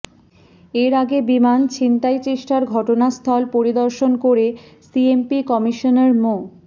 এর আগে বিমান ছিনতাইচেষ্টার ঘটনাস্থল পরিদর্শন করে সিএমপি কমিশনার মো